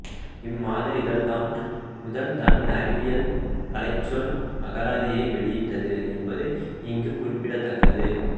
இம்மாத இதழ்தான் முதல் தமிழ் அறிவியல் கலைச்சொல் அகராதியை வெளியிட்டது என்பது இங்கு குறிப்பிடத்தக்கது